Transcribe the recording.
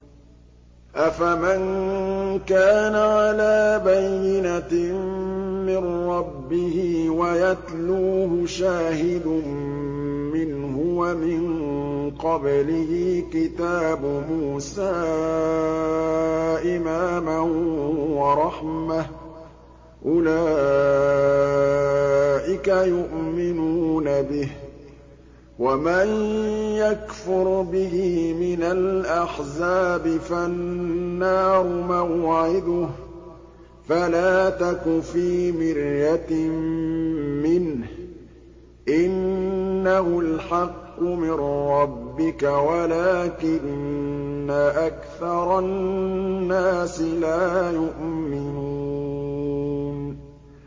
أَفَمَن كَانَ عَلَىٰ بَيِّنَةٍ مِّن رَّبِّهِ وَيَتْلُوهُ شَاهِدٌ مِّنْهُ وَمِن قَبْلِهِ كِتَابُ مُوسَىٰ إِمَامًا وَرَحْمَةً ۚ أُولَٰئِكَ يُؤْمِنُونَ بِهِ ۚ وَمَن يَكْفُرْ بِهِ مِنَ الْأَحْزَابِ فَالنَّارُ مَوْعِدُهُ ۚ فَلَا تَكُ فِي مِرْيَةٍ مِّنْهُ ۚ إِنَّهُ الْحَقُّ مِن رَّبِّكَ وَلَٰكِنَّ أَكْثَرَ النَّاسِ لَا يُؤْمِنُونَ